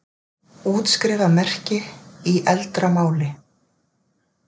útskrifa merkti í eldra máli